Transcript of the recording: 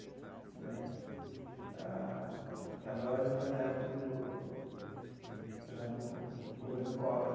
Né ah e a loja foi na época do já no governo Collor.